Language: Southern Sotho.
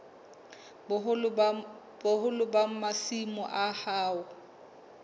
boholo ba masimo a hao